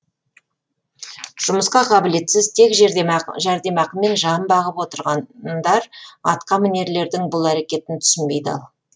жұмысқа қабілетсіз тек жәрдемақымен жан бағып отырғандар атқа мінерлердің бұл әрекетін түсінбей дал